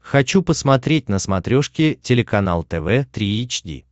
хочу посмотреть на смотрешке телеканал тв три эйч ди